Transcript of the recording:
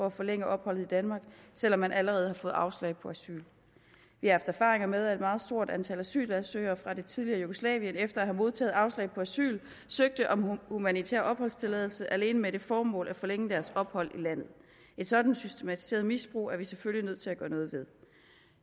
at forlænge opholdet i danmark selv om man allerede har fået afslag på asyl vi har erfaringer med at et meget stort antal asylansøgere fra det tidligere jugoslavien efter at have modtaget afslag på asyl søgte om humanitær opholdstilladelse alene med det formål at forlænge deres ophold i landet et sådant systematiseret misbrug er vi selvfølgelig nødt til at gøre noget ved